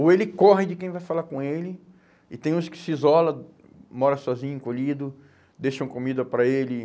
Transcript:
Ou ele corre de quem vai falar com ele e tem uns que se isola, mora sozinho, encolhido, deixam comida para ele.